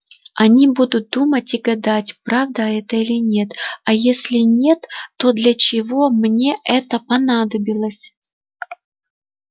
они будут думать и гадать правда это или нет а если нет то для чего мне это понадобилось